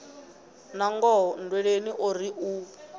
nangoho nndweleni o ri u